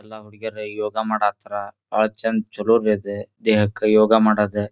ಎಲ್ಲಾ ಹುಡುಗಿಯರ ಯೋಗ ಮಾಢತರ ಬಹಳ ಚೆಂದ ಚಲೋ ಅಯ್ತ್ನಿ ದೇಹಕ್ಕ ಯೋಗ ಮಾಡೋದು.